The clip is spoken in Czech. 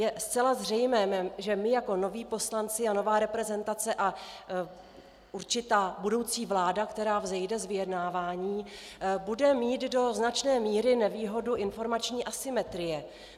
Je zcela zřejmé, že my jako noví poslanci a nová reprezentace a určitá budoucí vláda, která vzejde z vyjednávání, bude mít do značné míry nevýhodu informační asymetrie.